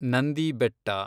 Nandi Betta